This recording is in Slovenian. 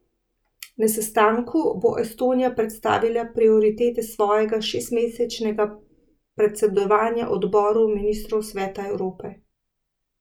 Na sestanku bo Estonija predstavila prioritete svojega šestmesečnega predsedovanja odboru ministrov Sveta Evrope.